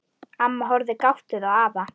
Amma horfir gáttuð á afa.